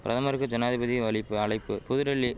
பிரதமருக்கு ஜனாதிபதி வலிப்பு அலைப்பு புதுடெல்லி